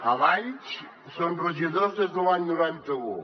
a valls són regidors des de l’any noranta un